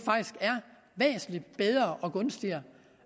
væsentlig bedre og gunstigere